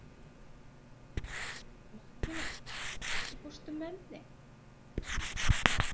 Mattína, ekki fórstu með þeim?